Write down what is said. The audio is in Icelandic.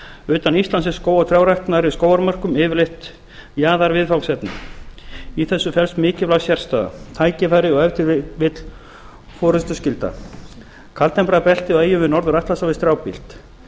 utan íslands er skóg og trjárækt nærri skógarmörkum yfirleitt jaðarviðfangsefni í þessu felst mikilvæg sérstaða tækifæri og ef til vill forustuskylda kaldtempraða beltið á eyjum við norður atlantshaf er strjálbýlt